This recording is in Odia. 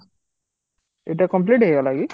ଏଟା complete ହେଇଗଲା କି?